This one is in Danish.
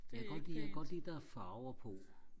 jeg kan godt lide jeg kan godt lide der er farver på